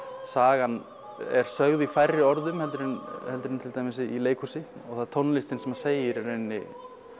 sagan er sögð í færri orðum heldur en heldur en til dæmis í leikhúsi og og það er tónlistin sem segir í rauninni